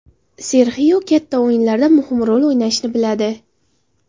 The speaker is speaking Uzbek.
Serxio katta o‘yinlarda muhim rol o‘ynashni biladi.